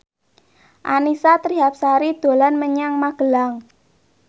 Annisa Trihapsari dolan menyang Magelang